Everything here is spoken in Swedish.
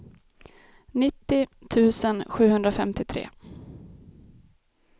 nittio tusen sjuhundrafemtiotre